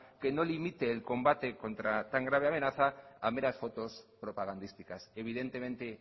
que no limite el combate contra sangre y amenazas a meras fotos propagandísticas evidentemente